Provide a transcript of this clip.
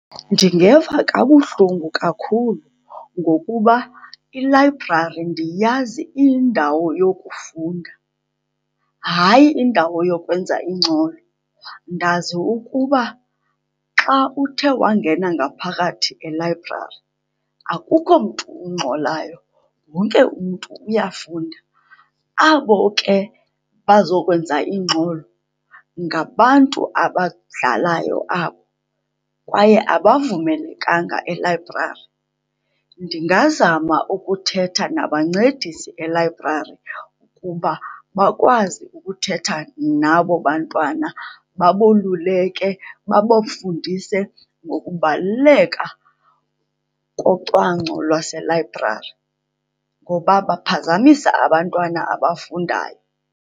Ndingeva kabuhlungu kakhulu ngokuba ilayibrari ndiyazi iyindawo yokufunda, hayi indawo yokwenza ingxolo. Ndazi ukuba xa uthe wangena ngaphakathi elayibrari akukho mntu ungxolayo, wonke umntu uyafunda. Abo ke bazokwenza ingxolo ngabantu abadlalayo abo, kwaye abavumelekanga elayibrari. Ndingazama ukuthetha nabancedisi elayibrari kuba bakwazi ukuthetha nabo bantwana, baboluleke, babafundise ngokubaluleka kocwangco lwaselayibrari, ngoba baphazamisa abantwana abafundayo.